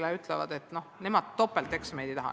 Ja nad ütlevad, et nemad topelteksameid ei taha.